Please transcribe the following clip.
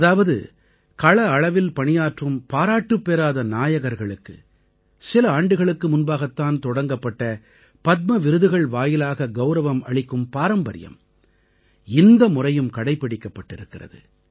அதாவது கள அளவில் பணியாற்றும் பாராட்டுப்பெறாத நாயகர்களுக்கு சில ஆண்டுகளுக்கு முன்பாகத் தான் தொடங்கப்பட்ட பத்ம விருதுகள் வாயிலாக கௌரவம் அளிக்கும் பாரம்பரியம் இந்த முறையும் கடைப்பிடிக்கப்பட்டிருக்கிறது